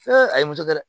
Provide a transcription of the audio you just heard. a ye muso kɛ dɛ